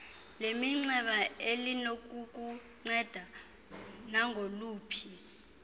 leminxeba elinokukunceda nangoluphi